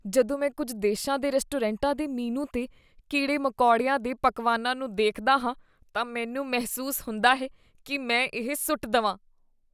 ਜਦੋਂ ਮੈਂ ਕੁੱਝ ਦੇ ਸ਼ਾਂ ਦੇ ਰੈਸਟੋਰੈਂਟਾਂ ਦੇ ਮੀਨੂ 'ਤੇ ਕੀੜੇ ਮਕੌੜਿਆਂ ਦੇ ਪਕਵਾਨਾਂ ਨੂੰ ਦੇਖਦਾ ਹਾਂ, ਤਾਂ ਮੈਨੂੰ ਮਹਿਸੂਸ ਹੁੰਦਾ ਹੈ ਕੀ ਮੈਂ ਇਹ ਸੁੱਟ ਦਵਾਂ